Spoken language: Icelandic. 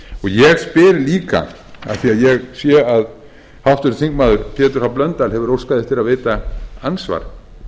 ég spyr líka af því að ég sé að háttvirtur þingmaður pétur h blöndal hefur óskað eftir að veita andsvar